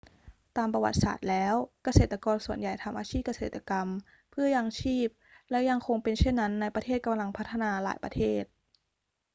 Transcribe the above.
ตามประวัติศาสตร์แล้ว เกษตรกรส่วนใหญ่ทำอาชีพเกษตรกรรมเพื่อยังชีพและยังคงเป็นเช่นนั้นในประเทศกำลังพัฒนาหลายประเทศ